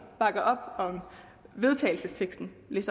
bakker op om den vedtagelsestekst